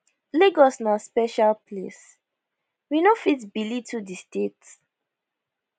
lagos na special place we no fit belittle di state